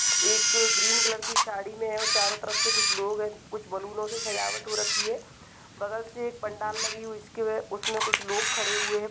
--एक green colour की साड़ी में है कुछ लोग हैं चारों तरफ से कुछ लोग हैं और कुछ बैलून से सजा के रखे हुए हैं बगल से पंडाल आगे हुए हैं उसमें कुछ लोग खड़े हुए है।